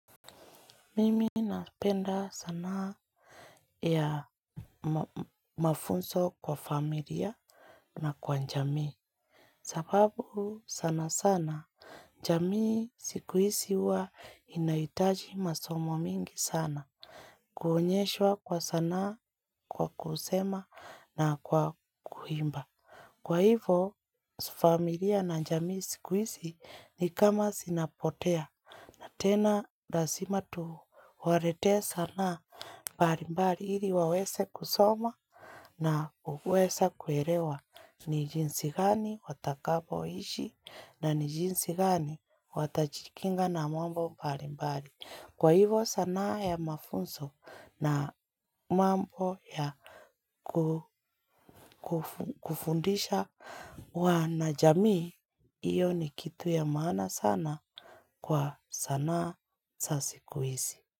Mimi napenda sanaa ya mafunzo kwa familia na kwa jamii. Sababu sana sana, jamii siku hizi huwa inahitaji masomo mingi sana. Kuonyeshwa kwa sanaa, kwa kusema na kwa kuimba. Kwa hivo, familia na jamii siku hizi ni kama zinapotea. Tena, lazima tuwaletee sanaa. Mbali mbali ili waweze kusoma na kuweza kuelewa ni jinsi gani watakapoishi na ni jinsi gani watajikinga na mambo mbali mbali. Kwa hivo sanaa ya mafunzo na mambo ya kufundisha wanajamii, hiyo ni kitu ya maana sana, kwa sanaa za siku hizi.